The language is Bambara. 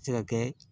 Se ka kɛ